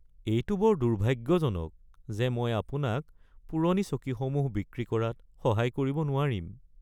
এইটো বৰ দুৰ্ভাগ্যজনক যে মই আপোনাক পুৰণি চকীসমূহ বিক্ৰী কৰাত সহায় কৰিব নোৱাৰিম।